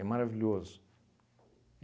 maravilhoso.